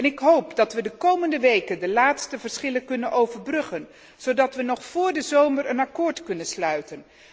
Ik hoop dat we de komende weken de laatste verschillen kunnen overbruggen zodat we nog vóór de zomer een akkoord kunnen sluiten.